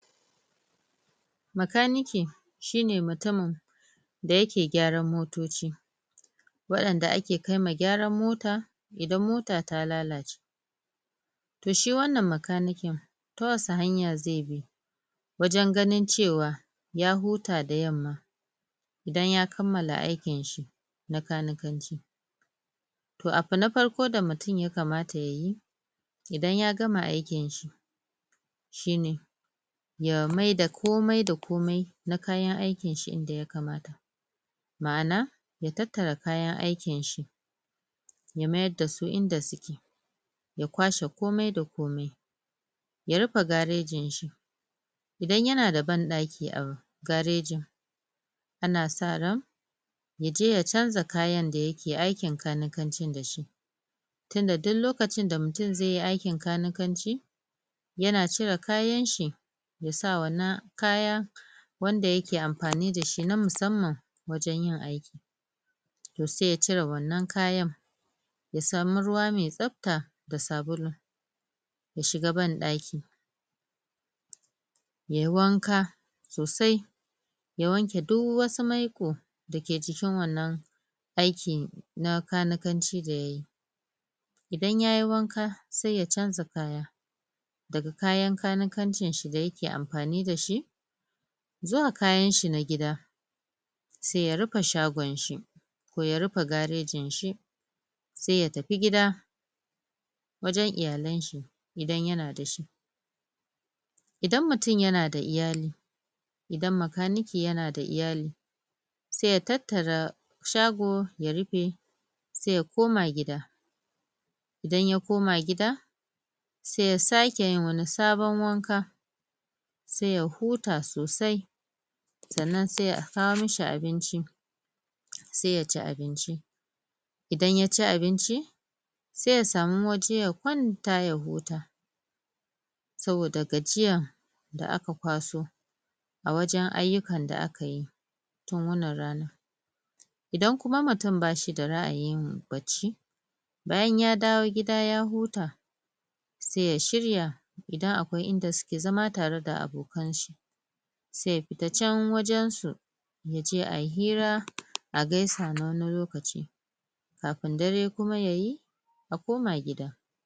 bakanike shine mutumin da yake gyaran motoci wa'inda ake kaiwa gyaran mota idan mota ta lalace toh shi wannan bakaniken ta wasu hanya zai bi wajen ganin cewa ya huta da yamma idan ya kammala aikin shi na kanikan ci toh abu na farko da mutum yakamata yayi idan ya gama aikin shi shine ya maida komai da komai na kayan aikin shi inda yakamata ma'ana ya tattara kayan aikin shi ya mayar da su inda suke ya kwashe komai da komai ya rufe garejin shi idan yana da banɗaki a garejin ana sa ran yaje ya canza kayan da yake aikin kanikancin da shi tunda duk lokacin da mutum zaiyi aikin kanikanci yana cire kayan shi yasa wannan kaya wanda yake amfani dashi na musamman wajen yin aiki toh sai ya cire wannan kayan ya samu ruwa mai tsabta da sabulu ya shiga banɗaki yayi wanka sosai ya wanke duk wasu maiƙo dake cikin wannan aikin na kanikanci da yayi idan yayi wanka sai ya canza kaya daga kayan kanikancin shi da yake amfani da shi zuwa kayan shi da gida sai ya rufe shagon shi ko ya rufe garejin shi sai ya tafi gida wajen iyalan shi idan yana da shi idan mutum yana da iyali idan bakanike yana da iyali sai ya tattara shago ya rufe sai ya koma gida idan ya koma gida sai ya sake yin wani sabon wanka sai ya huta sosai sannan sai a kawo mashi abinnci sai ya ci abinci idan yaci abinci sai ya samu waje ya kwanta ya huta saboda gajiya da aka kwaso a waje ayyukan da aka yi na wannan rana idan kuma mutum ba shi da ra'ayin yin bacci bayan ya dawo gida ya huta sai ya shirya idan akwai inda suke zama tare da abokan shi sai ya fita can wajen su yaje ayi hira a gaisa na wani lokaci kafin dare kuma yayi ya koma gida